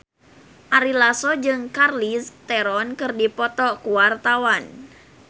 Ari Lasso jeung Charlize Theron keur dipoto ku wartawan